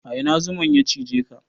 A ina zuman ya cijeka?